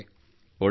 ಒಳ್ಳೆಯದು